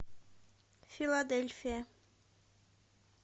филадельфия